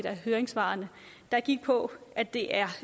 høringssvar gik på at det er